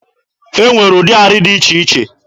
E nwere ụdị arị dị iche iche.